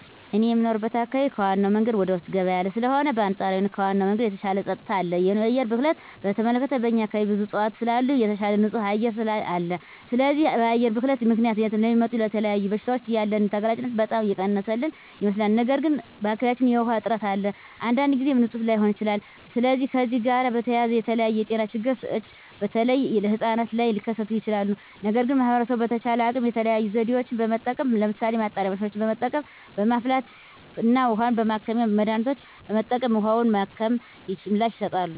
እኔ የምኖርበት አካባቢ ከዋናው መንገድ ወደ ውስጥ ገባ ያለ ስለሆነ በአንፃራዊነት ከዋናው መንገድ የተሻለ ፀጥታ አለ። የአየር ብክለትን በተመለከተ በእኛ አካባቢ ብዙ እፅዋት ስላሉ የተሻለ ንፁህ አየር አለ። ስለዚህ በአየር ብክለት ምክንያት ለሚመጡ ለተለያዩ በሽታዎች ያለንን ተጋላጭነት በጣም የቀነሰልን ይመስለኛል። ነገር ግን በአካባቢያችን የዉሃ እጥረት አለ። አንዳንድ ጊዜም ንፁህ ላይሆን ይችላል። ስለዚህ ከዚህ ጋር በተያያዘ የተለያዩ የጤና ችግሮች በተለይ ህጻናት ላይ ሊከስቱ ይችላሉ። ነገር ግን ማህበረሰቡ በተቻለው አቅም የተለያዩ ዘዴዎችን በመጠቀም ለምሳሌ ማጣሪያ ማሽኖችን በመጠቀም፣ በማፍላት እና የውሀ ማከሚያ መድሀኒቶችን በመጠቀም ውሀውን በማከም ምላሽ ይሰጣሉ።